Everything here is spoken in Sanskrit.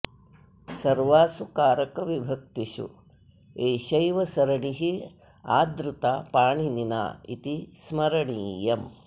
सर्वासु कारकविभक्तिषु एषैव सरणिः आदृता पाणिनिना इति स्मरणीयम्